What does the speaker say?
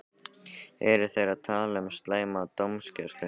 Eru þeir að tala um slæma dómgæslu?